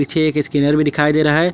पीछे एक स्कैनर भी दिखाई दे रहा है।